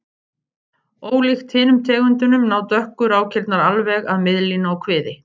Ólíkt hinum tegundunum ná dökku rákirnar alveg að miðlínu á kviði.